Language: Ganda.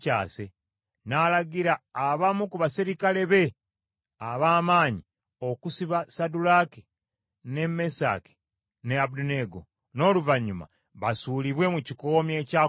N’alagira abamu ku baserikale be ab’amaanyi okusiba Saddulaaki, ne Mesaki ne Abeduneego, n’oluvannyuma basuulibwe mu kikoomi ekyaka omuliro.